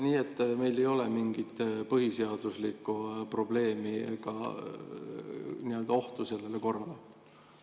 Nii et meil ei ole mingit põhiseaduslikku probleemi ega nagu ohtu sellele korrale?